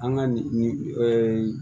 An ka nin